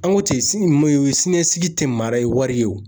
An ko ten ,sini ma siniɲɛsigi tɛ mara ye wari ye wo!